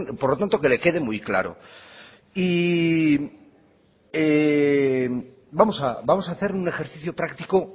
por lo tanto que le quede muy claro y vamos a hacer un ejercicio práctico